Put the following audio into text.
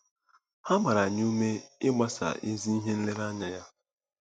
A gbara anyị ume ịgbaso ezi ihe nlereanya ya.